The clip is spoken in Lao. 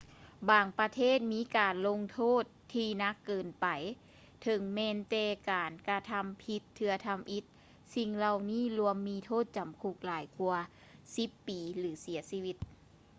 ບາງປະເທດມີການລົງໂທດທີ່ໜັກເກີນໄປເຖິງແມ່ນແຕ່ການກະທຳຜິດເທື່ອທຳອິດ ສິ່ງເຫຼົ່ານີ້ລວມມີໂທດຈຳຄຸກຫຼາຍກວ່າ 10 ປີ ຫຼື ເສຍຊີວິດ